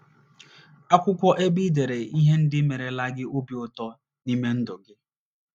Akwụkwọ ebe i dere ihe ndị merela gị obi ụtọ n’ime ndụ gị